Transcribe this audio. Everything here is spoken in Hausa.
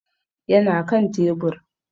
Ya na kan tebur.